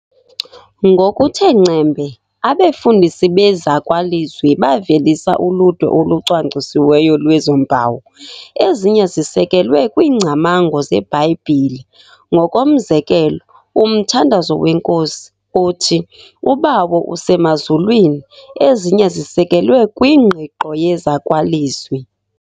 Ngokuthe ngcembe abefundisi bezakwalizwi bavelisa uludwe olucwangcisiweyo lwezo mpawu, ezinye zisekelwe kwiingcamango zeBhayibhile. Ngokomzekelo, "uMthandazo weNkosi", othi uBawo usemazulwini, ezinye zisekelwe kwingqiqo yezakwalizwi.